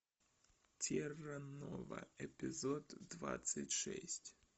терра нова эпизод двадцать шесть